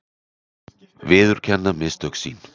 Viðurkenna mistök sín.